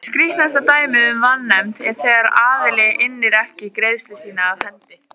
Skýrasta dæmið um vanefnd er þegar aðili innir ekki greiðslu sína af hendi.